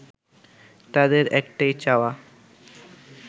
তাদের একটাই চাওয়া